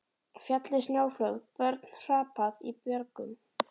Fallið snjóflóð, börn hrapað í björgum.